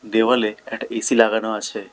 দেওয়ালে একটা এ_সি লাগানো আছে।